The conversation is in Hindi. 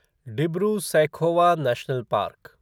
Dibru Saikhowa national park